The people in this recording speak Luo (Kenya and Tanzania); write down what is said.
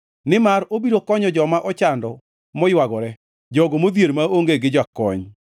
Nimar obiro konyo joma ochando maywagore, jogo modhier maonge gi jakony.